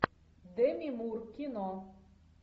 деми мур кино